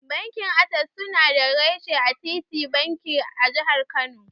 Bankin Ases suna da reshe a titin banki, a Jihar Kano.